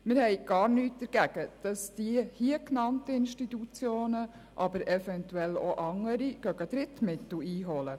Wir haben nichts dagegen, dass die hier genannten, aber eventuell auch andere Institutionen Drittmittel einholen.